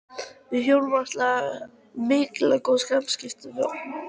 Við hjónin áttum mikil og góð samskipti við Ottó og